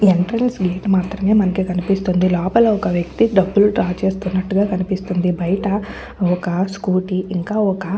Entrance gate మాత్రమే నాకు కనిపిస్తుంది. లోపల ఒక వ్యక్తి డబ్బులు డ్రా చేస్తున్నట్టుగా కనిపిస్తుంది. బయట ఒక స్కూటీ ఇంకా ఒక --